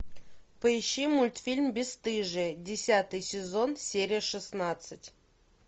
поищи мультфильм бесстыжие десятый сезон серия шестнадцать